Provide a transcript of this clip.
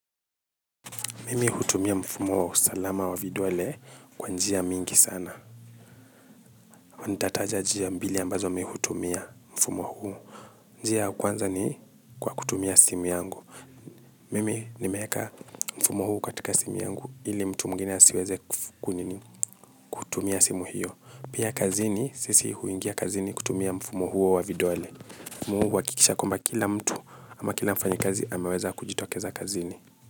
Mimi hutumia mfumo wa usalama wa vidole kwa njia mingi sana. Nitataja njia mbili ambazo mi hutumia mfumo huu. Njia ya kwanza ni kwa kutumia simu yangu. Mimi nimeeka mfumo huu katika simu yangu ili mtu mwingine asiweze kunini kutumia simu hiyo. Pia kazini sisi huingia kazini kutumia mfumo huo wa vidole. Mi huhakikisha kwamba kila mtu ama kila mfanyakazi ameweza kujitokeza kazini.